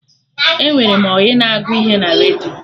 Enwere m ọyị na agụ ihe na redio